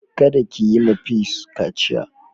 Kada ki yi ma peace kaciya.